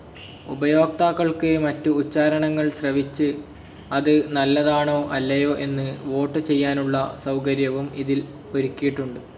ഉപയോക്താക്കൾക്ക് മറ്റ് ഉച്ചാരണങ്ങൾ ശ്രവിച്ച് അത് നല്ലതാണോ അല്ലയോ എന്ന് വോട്ട്‌ ചെയ്യാനുള്ള സൗകര്യവും ഇതിൽ ഒരുക്കിയിട്ടുണ്ട്.